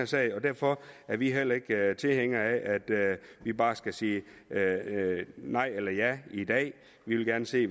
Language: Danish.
sag og derfor er vi heller ikke tilhængere af at vi bare skal sige nej eller ja i dag vi vil gerne se